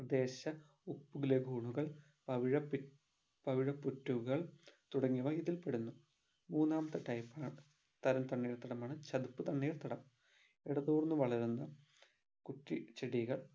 പ്രദേശ ഉപ്പു lagoon കൾ പവിഴ പി പവിഴപുറ്റുകൾ തുടങ്ങിയവ ഇതിൽപെടുന്നു മൂന്നാമത്തെ type തരം തണ്ണീർത്തടമാണ് ചതുപ്പ് തണ്ണീർത്തടം ഇടതൂർന്ന് വളരുന്ന കുറ്റിച്ചെടികൾ